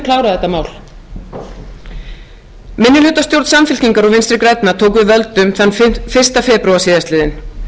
þetta mál minnihlutastjórn samfylkingar og vinstri grænna tók við völdum þann fyrsta febrúar síðastliðinn